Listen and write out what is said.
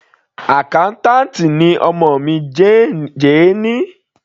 Accountant ni ọmọ mi, Jane.